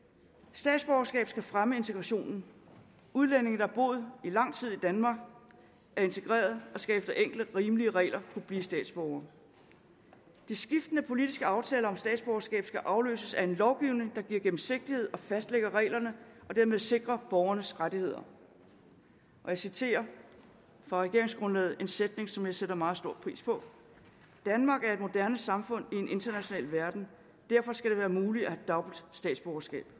statsborgerskab skal fremme integrationen udlændinge der har boet lang tid i danmark er integreret og skal efter enkle rimelige regler kunne blive statsborgere de skiftende politiske aftaler om statsborgerskab skal afløses af en lovgivning der giver gennemsigtighed og fastlægger reglerne og dermed sikrer borgernes rettigheder jeg citerer fra regeringsgrundlaget en sætning som jeg sætter meget stor pris på danmark er et moderne samfund i en international verden derfor skal det være muligt at have dobbelt statsborgerskab